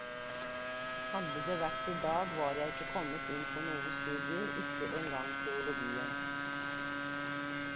Hadde det vært i dag, var jeg ikke kommet inn på noen studier, ikke engang teologien.